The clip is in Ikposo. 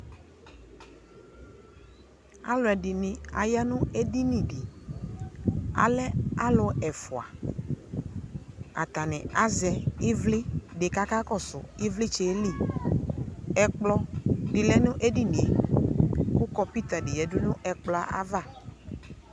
Alʋɛdini aya nʋ edini di Alɛ alʋ ɛfua Atani azɛ ivli di kakakɔsʋ ivlitsɛ yɛ li Ɛkplɔ di lɛ nʋ ɛdinie kʋ kɔmpʋta di yadu n'ɛkplɔ yɛ ava